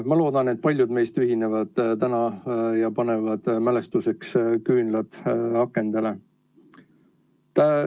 Ma loodan, et paljud meist täna ühinevad ja panevad mälestuseks küünlad akendele.